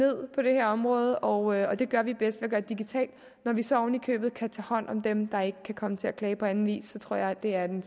på det her område og det gør vi bedst ved at digitalt når vi så oven i købet kan tage hånd om dem der ikke kan komme til at klage på den vis tror jeg det er den